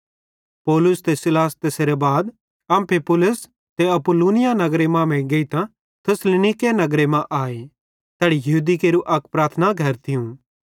पौलुस ते सीलास तैसेरां बाद अम्फिपुलिस ते अपुल्लोनिया नगरन मांमेइं गेइतां थिस्सलुनीके नगरे मां आए तैड़ी यहूदी केरू अक प्रार्थना घर थियूं